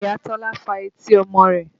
Ìyá Tọ́lá fa etí ọmọ rẹ̀